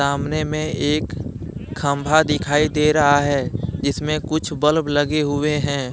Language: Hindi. सामने में एक खंभा दिखाई दे रहा है जिसमें कुछ बल्ब लगे हुए हैं।